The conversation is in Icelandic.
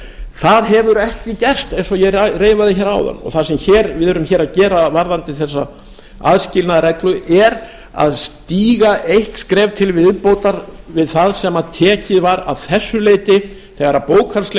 það hefur ekki gerst eins og ég reifaði hér áðan það sem við erum hér að gera varðandi þessa aðskilnaðarreglu er að stíga eitt skref til viðbótar við það sem tekið var að þessu leyti þegar bókhaldslegi